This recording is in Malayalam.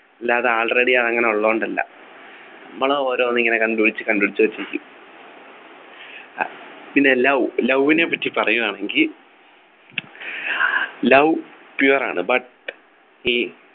അല്ലാതെ Already അത് അങ്ങനെ ഉള്ളതുകൊണ്ടല്ല നമ്മൾ ഓരോന്നിങ്ങനെ കണ്ടുപിടിച്ചു കണ്ടുപിടിച്ചു അത് ചെയ്യും അഹ് പിന്നെ Love Love നെ പറ്റി പറയുകയാണെങ്കി Love pure ആണ് but ഈ